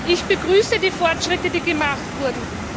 Ich begrüße die Fortschritte, die gemacht wurden.